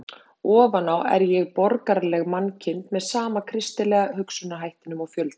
Ofan á er ég borgaraleg mannkind, með sama kristilega hugsunarhættinum og fjöldinn.